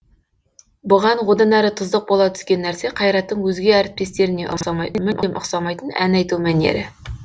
бұған одан әрі тұздық бола түскен нәрсе қайраттың өзге әріптестеріне ұқсамайтын мүлде ұқсамайтын ән айту мәнері